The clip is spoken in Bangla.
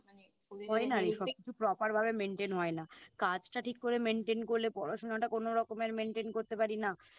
হয় না রে সবকিছু Proper ভাবে Maintain হয় না কাজটা ঠিক করে Maintain করলে পড়াশোনাটা কোনো রকমের Maintain করতে পারি না